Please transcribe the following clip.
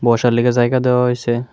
বসার লইগে জায়গা দেওয়া হইছে।